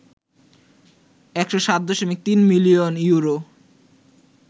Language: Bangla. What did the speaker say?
১০৭.৩ মিলিয়ন ইউরো